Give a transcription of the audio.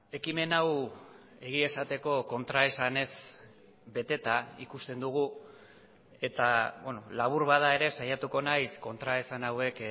ekimen hau egia esateko kontraesanez beteta ikusten dugu eta labur bada ere saiatuko naiz kontraesan hauek